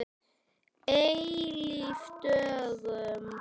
Eilíf dögun.